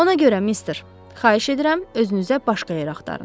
Ona görə, mister, xahiş edirəm, özünüzə başqa yer axtarın.